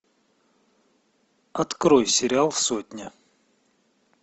открой сериал сотня